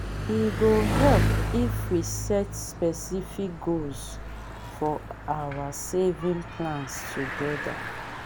e go help if we set specific goals for our saving plans together.